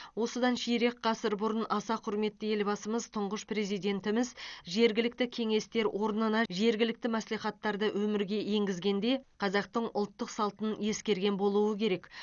осыдан ширек ғасыр бұрын аса құрметті елбасымыз тұңғыш президентіміз жергілікті кеңестер орнынан жергілікті мәслихаттарды өмірге енгізгенде қазақтың ұлттық салтын ескерген болуы керек